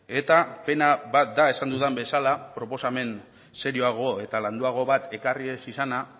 eta pena bat da esan dudan bezala proposamen serioago eta landuago bat ekarri ez izana